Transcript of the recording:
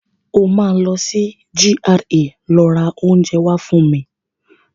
O máa lọ sí GRA lọ rà oúnjẹ wá fún mi.